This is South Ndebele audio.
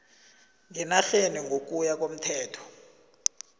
ngenarheni ngokuya komthetho